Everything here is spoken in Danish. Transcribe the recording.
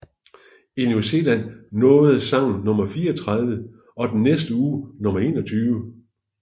I New Zealand nåede sangen nummer 34 og den næste uge nummer 21